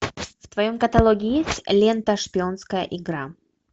в твоем каталоге есть лента шпионская игра